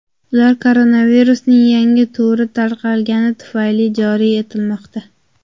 Ular koronavirusning yangi turi tarqalgani tufayli joriy etilmoqda.